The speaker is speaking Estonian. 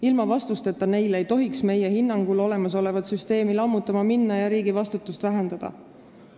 Ilma vastuseta neile ei tohiks meie hinnangul olemasolevat süsteemi lammutama minna ja riigi vastutust vähendada.